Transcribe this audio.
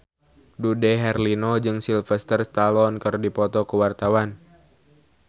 Dude Herlino jeung Sylvester Stallone keur dipoto ku wartawan